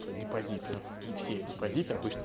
по депозиту и все депозиты обычно